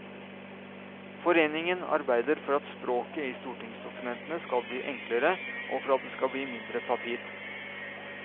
Foreningen arbeider for at språket i stortingsdokumentene skal bli enklere, og for at det skal bli mindre papir.